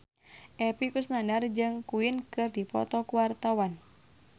Epy Kusnandar jeung Queen keur dipoto ku wartawan